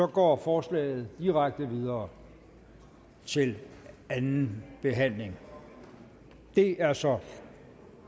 går forslaget direkte videre til anden behandling det er så